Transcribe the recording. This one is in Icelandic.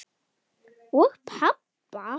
Og pabba!